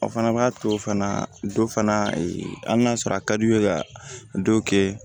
O fana b'a to fana dɔ fana hali n'a sɔrɔ a ka di u ye ka dɔ kɛ